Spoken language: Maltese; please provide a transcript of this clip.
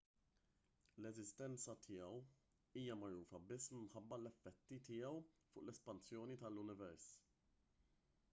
l-eżistenza tiegħu hija magħrufa biss minħabba l-effetti tiegħu fuq l-espansjoni tal-univers